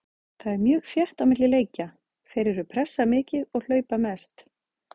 Það er mjög þétt á milli leikja, þeir eru pressa mikið og hlaupa mest.